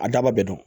A daba bɛɛ don